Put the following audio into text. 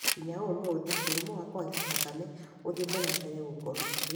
nginya ũmũthĩ, mũrimũ wa kũhaica thakame ũthiĩte na mbere gũkorwo ũrĩ